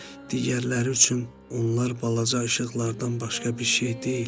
Digərləri üçün onlar balaca işıqlardan başqa bir şey deyil.